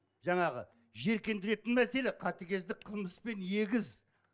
жаңағы жиіркендіретін мәселе қатыгездік қылмыспен егіз